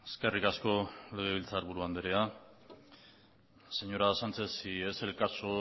eskerrik asko legebiltzar buru andrea señora sánchez si es el caso